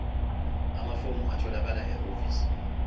amafomu atholakala ehhovisi